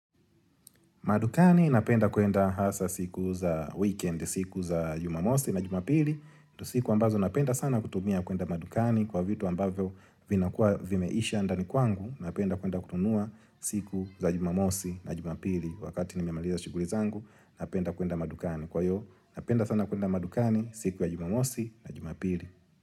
Madukani napenda kuenda hasa siku za weekend, siku za jumamosi na jumapili. Siku ambazo napenda sana kutumia kuenda madukani kwa vitu ambavyo vinakuwa vimeisha ndani kwangu. Napenda kuenda kutunua siku za jumamosi na jumapili wakati nimemaliza shuguli zangu. Napenda kuenda madukani kwa iyo. Napenda sana kwenda madukani siku ya jumamosi na jumapili.